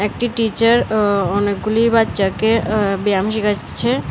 একটি টিচার ও অনেকগুলি বাচ্চাকে আ্য ব্যায়াম শিখাচ্ছে।